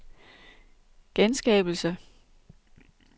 genskabelse